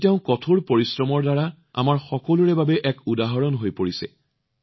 আজি তেওঁ কঠোৰ পৰিশ্ৰমৰ দ্বাৰা আমাৰ সকলোৰে বাবে এক আদৰ্শ হৈ পৰিছে